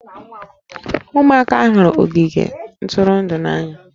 Ụmụaka hụrụ ogige ntụrụndụ n'anya